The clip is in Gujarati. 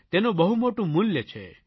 તેનું બહુ મોટું મૂલ્ય છે